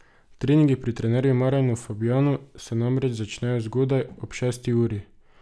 Treningi pri trenerju Marjanu Fabjanu se namreč začnejo zgodaj, ob šesti uri.